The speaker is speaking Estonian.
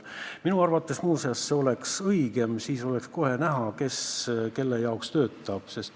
Minu arvates see oleks õigem, siis oleks kohe näha, kes kelle heaks töötab.